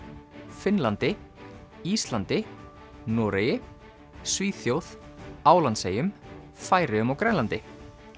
Finnlandi Íslandi Noregi Svíþjóð Álandseyjum Færeyjum og Grænlandi